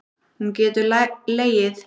Hún getur legið.